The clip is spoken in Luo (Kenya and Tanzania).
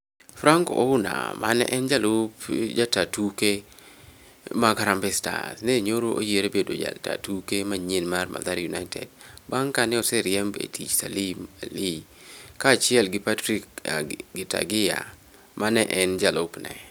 Frank Ouna me ne en jalup jata tuke mag Harambee Stars, ne nyoro oyier bedo jata tuke manyien mar Mathare United bang' kaneoseriemb e tich Salim Ali kaachiel gi Patrick Gitagia ma ne en jalupne.